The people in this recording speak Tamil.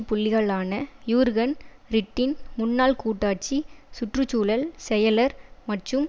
புள்ளிகளான யூர்கன் ரிட்டின் முன்னாள் கூட்டாட்சி சுற்று சூழல் செயலர் மற்றும்